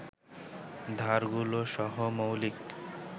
ধারগুলো সহ মৌলিক